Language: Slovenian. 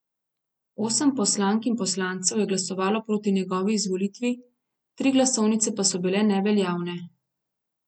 Osem poslank in poslancev je glasovalo proti njegovi izvolitvi, tri glasovnice pa so bile neveljavne.